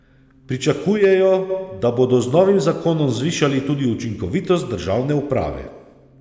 Pričakujejo, da bodo z novim zakonom zvišali tudi učinkovitost državne uprave.